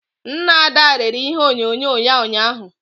Nna Ada rere ihe onyonyo ya ụnyahụ